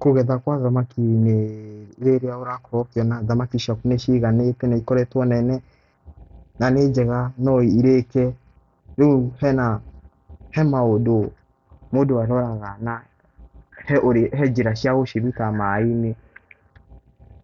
Kũgetha kwa thamaki nĩ rĩrĩa ũrakorwo ũkĩona thamaki ciaku nĩciganĩte na ikoretwo nene na nĩ njega no irĩke. Rĩu he maũndũ mũndũ aroraga, na he njĩra cia gũciruta maaĩ-inĩ.